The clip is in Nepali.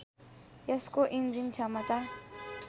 यसको इन्जिन क्षमता